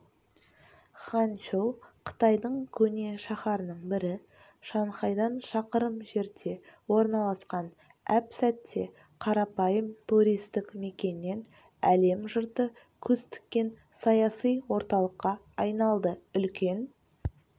ханчжоу қытайдың көне шаһарының бірі шанхайдан шақырым жерде орналасқан әп-сәтте қарапайым туристік мекеннен әлем жұрты көз тіккен саяси орталыққа айналды үлкен